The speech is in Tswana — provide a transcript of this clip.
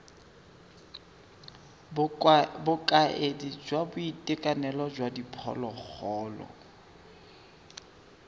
bokaedi jwa boitekanelo jwa diphologolo